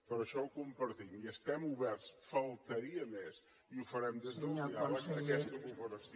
per això ho compartim i estem oberts només faltaria i ho farem des del diàleg a aquesta cooperació